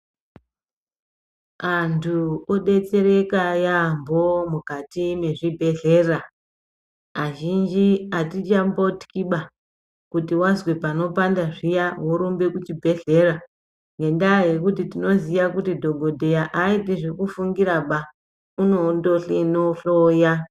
Antu odetsereka yaambo mukati mezvibhedhlera azhinji atichambotiba kuti wazwe panopanda zviya worumbe kuchibhedhlera ngendaya yekuti tinoziya kuti dhokodheya aaiti zekufungira unoondohlenohloya.